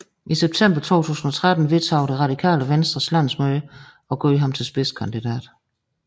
I september 2013 vedtog Det Radikale Venstres landsmøde at gøre ham til spidskandidat